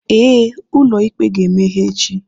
Ee, ụlọ ikpe ga-emeghe echi.